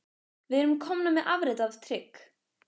Við erum komnir með afrit af trygg